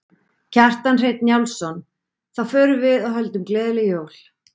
Kjartan Hreinn Njálsson: Þá förum við og höldum gleðileg jól?